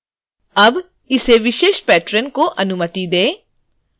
अब इस विशेष patron को अनुमति दें